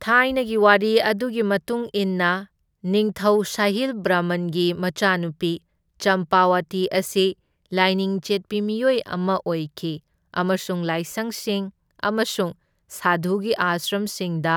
ꯊꯥꯏꯅꯒꯤ ꯋꯥꯔꯤ ꯑꯗꯨꯒꯤ ꯃꯇꯨꯡ ꯏꯟꯅ, ꯅꯤꯡꯊꯧ ꯁꯥꯍꯤꯜ ꯕꯔꯃꯟꯒꯤ ꯃꯆꯥꯅꯨꯄꯤ, ꯆꯝꯄꯥꯋꯇꯤ ꯑꯁꯤ ꯂꯥꯏꯅꯤꯡ ꯆꯦꯠꯄꯤ ꯃꯤꯑꯣꯏ ꯑꯃ ꯑꯣꯏꯈꯤ ꯑꯃꯁꯨꯡ ꯂꯥꯏꯁꯪꯁꯤꯡ ꯑꯃꯁꯨꯡ ꯁꯥꯙꯨꯒꯤ ꯑꯥꯁ꯭ꯔꯝꯁꯤꯡꯗ